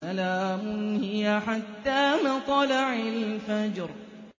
سَلَامٌ هِيَ حَتَّىٰ مَطْلَعِ الْفَجْرِ